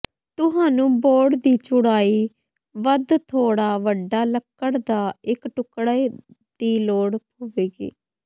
ਤੁਹਾਨੂੰ ਬੋਰਡ ਦੀ ਚੌੜਾਈ ਵੱਧ ਥੋੜ੍ਹਾ ਵੱਡਾ ਲੱਕੜ ਦਾ ਇੱਕ ਟੁਕੜਾ ਦੀ ਲੋੜ ਹੋਵੇਗੀ